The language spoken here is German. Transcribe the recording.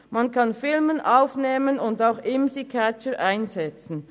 Man kann Filme aufnehmen und auch Imsi-Catcher einsetzen.